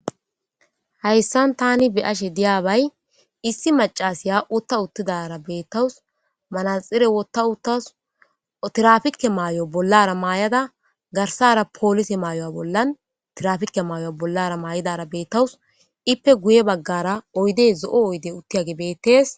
Hayssan taani be'ashe diyabay issi maccasiya utta uttidaara be'ettawsu. Manaatstsiire wotta uttas ,tirafikke maayo bollara maayada garsaara polisiye maayo bollan tirafikke maayo bollara maayidaara be'ettawsu. Ippe guyye baggara oyde zo'oy oyidde uttiyage be'ettes.